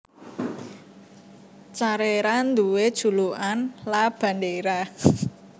Carrera duwé julukan La Bandera